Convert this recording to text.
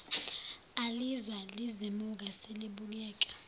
alizwa lizimuka selibukeka